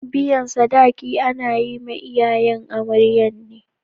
Biyan sadaki ana yi ma iyayen amaryan ne.